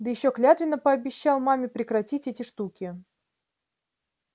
да ещё клятвенно пообещал маме прекратить эти штуки